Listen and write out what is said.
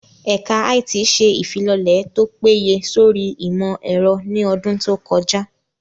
Ẹ̀ka IT ṣe ìfilọ́lẹ̀ tó péye sórí ìmọ̀ ẹ̀rọ ní ọdún tó kọjá